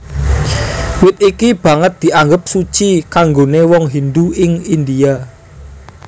Wit iki banget dianggep suci kanggoné wong Hindu ing India